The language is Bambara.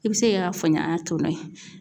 I bɛ se ka yen